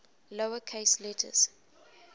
lower case letters